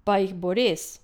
Pa jih bo res?